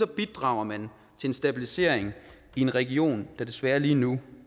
bidrager man til en stabilisering i en region der desværre lige nu